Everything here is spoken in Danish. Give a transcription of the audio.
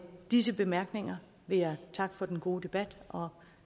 disse bemærkninger vil jeg takke for den gode debat og